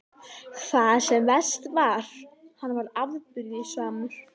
Það sem verst var: hann varð afbrýðisamur.